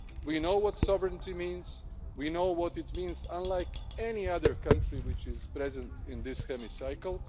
We know what sovereignty means. We know what it means unlike any other country which is present in this hemicycle.